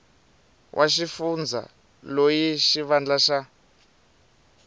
wa xifundza loyi xivandla xa